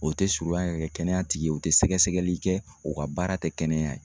O tɛ surunyan yɛrɛ kɛnɛyatigi u tɛ sɛgɛsɛgɛli kɛ, u ka baara tɛ kɛnɛya ye.